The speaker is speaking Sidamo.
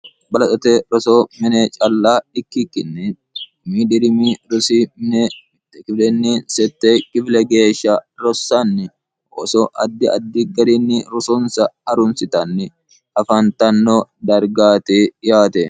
balaxote roso mine calla ikkikkinne kum dirimi rosks gifile geeshsha rossanni oso addi addi garinni rosonsa arunsitanni afaantanno dargaati yaate